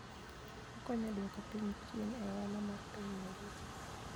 Okonyo e duoko piny chien e ohala mar piny mangima.